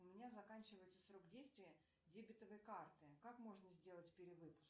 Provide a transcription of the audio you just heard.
у меня заканчивается срок действия дебетовой карты как можно сделать перевыпуск